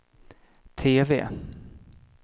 TV